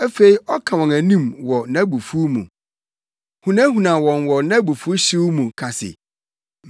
Afei ɔka wɔn anim wɔ nʼabufuw mu, hunahuna wɔn wɔ nʼabufuwhyew mu, ka se,